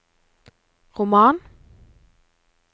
roman